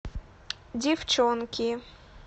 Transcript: девчонки